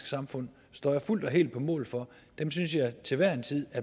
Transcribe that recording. samfund står jeg fuldt og helt på mål for dem synes jeg til hver en tid